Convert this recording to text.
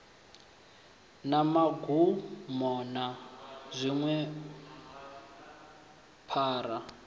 na magumo na dziṅwe phara